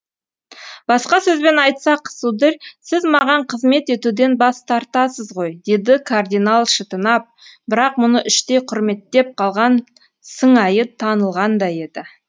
басқа сөзбен айтсақ сударь сіз маған қызмет етуден бас тартасыз ғой деді кардинал шытынап бірақ мұны іштей құрметтеп қалған сыңайы танылғандай еді